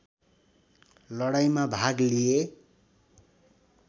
लडाईँमा भाग लिए